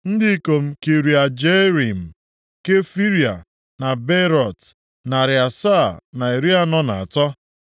Ndị ikom Kiriat Jearim, + 2:25 Maọbụ, Kiriat Arim Kefira na Beerọt, narị asaa na iri anọ na atọ (743).